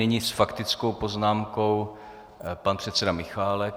Nyní s faktickou poznámkou pan předseda Michálek.